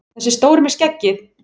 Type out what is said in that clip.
Þessi stóri með skeggið!